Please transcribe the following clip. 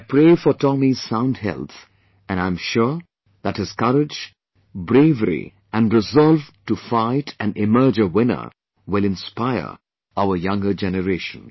I pray for Tomy's sound health and I am sure that his courage, bravery and resolve to fight and emerge a winner will inspire our younger generation